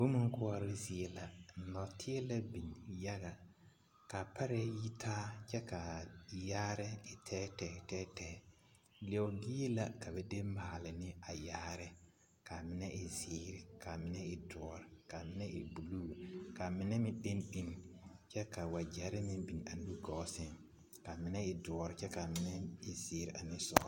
Boma koɔroo zie la, nɔɔteɛ la biŋ yaga k'a parɛɛ yitaa kyɛ k'a yaare e tɛɛtɛɛ tɛɛtɛɛ leɛo bie la ka ba de maale ne a yaare ka a mine e zeere k'a mine e doɔre k'a mine e buluu k'a mine meŋ leni leni kyɛ ka wagyɛre meŋ biŋ a nu gɔɔ sɛŋ ka a mine e doɔre kyɛ k'a mine e zeere ane sɔgelɔ.